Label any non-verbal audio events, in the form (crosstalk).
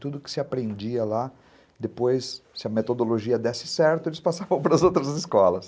Tudo que se aprendia lá, depois, se a metodologia desse certo, eles passavam (laughs) para as outras escolas.